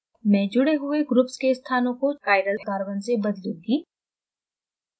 मैं जुड़े हुए ग्रुप्स के स्थानों को chiral carbon से बदलूँगी